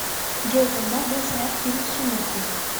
джой когда был снят фильм сумерки